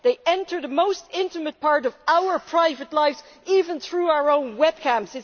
They enter the most intimate part of our private lives, even through our own webcams.